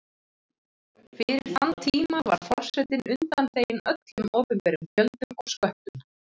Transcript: Fyrir þann tíma var forsetinn undanþeginn öllum opinberum gjöldum og sköttum.